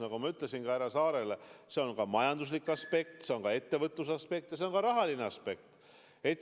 Nagu ma ütlesin härra Saarelegi, mängus on ka majanduslik aspekt, ettevõtluse aspekt, ja see on ka rahaline aspekt.